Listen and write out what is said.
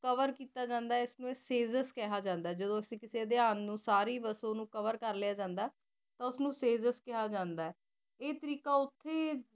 cover ਕੀਤਾ ਜਾਂਦਾ ਆਏ ਇਸ ਨੂ syllabus ਕਹਾ ਜਾਂਦਾ ਆਏ ਜਿਦੋਂ ਅਸੀਂ ਕਸੀ ਦੀਆਂ ਨੂ ਸਾਰੀ ਬਾਸ ਓਨੁ cover ਕੇਰ ਲਿਆ ਜਾਂਦਾ ਹੋਉਸ ਨੂ ਕ੍ਯਾ ਜਾਂਦਾ ਆਏ ਆਯ ਤਰੀਕਾ ਓਤੇ